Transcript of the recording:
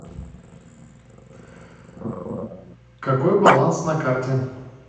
какой баланс на карте